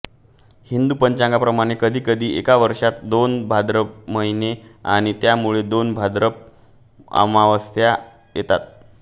हिंदू पंचांगाप्रमाणे कधीकधी एका वर्षात दोन भाद्रपद महिने आणि त्यामुळे दोन भाद्रपद अमावास्या येतात